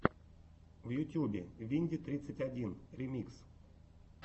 в ютьюбе винди тридцать один ремикс